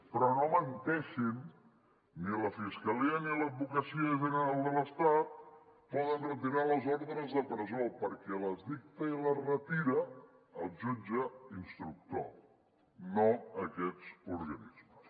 però no menteixen ni la fiscalia ni l’advocacia general de l’estat poden retirar les ordres de presó perquè les dicta i les retira el jutge instructor no aquests organismes